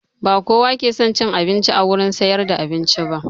Ba kowa ke son cin abinci a wurin siyar da abinci ba